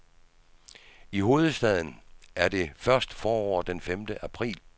I hovedstaden er det først forår den femte april.